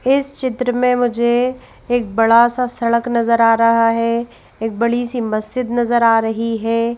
इस चित्र में मुझे एक बड़ा सा सड़क नजर आ रहा है बड़ी सी मस्जिद नजर आ रही है।